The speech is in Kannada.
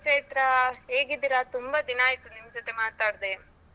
ಚೈತ್ರ ಹೇಗಿದ್ದೀರಾ ತುಂಬ ದಿನಾಯ್ತು ನಿಮ್ಜೊತೆ ಮಾತಾಡ್ದೆ.